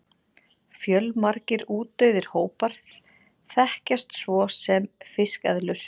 fjölmargir útdauðir hópar þekkjast svo sem fiskeðlur